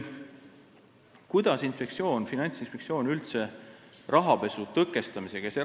Kuidas Finantsinspektsioon üldse rahapesu tõkestamisega tegeleb?